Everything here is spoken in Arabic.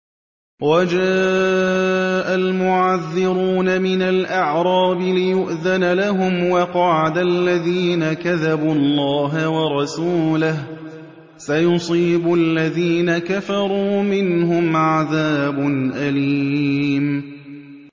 وَجَاءَ الْمُعَذِّرُونَ مِنَ الْأَعْرَابِ لِيُؤْذَنَ لَهُمْ وَقَعَدَ الَّذِينَ كَذَبُوا اللَّهَ وَرَسُولَهُ ۚ سَيُصِيبُ الَّذِينَ كَفَرُوا مِنْهُمْ عَذَابٌ أَلِيمٌ